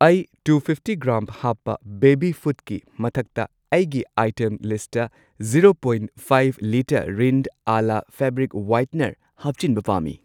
ꯑꯩ two fifty gram ꯍꯥꯞꯄ baby ꯐꯨꯗꯀꯤ ꯃꯊꯛꯇ ꯑꯩꯒꯤ ꯑꯥꯏꯇꯦꯝ ꯂꯤꯁꯠꯇ zero point five litre Rin Ala fabric whitener ꯍꯥꯞꯆꯤꯟꯕ ꯄꯥꯝꯃꯤ꯫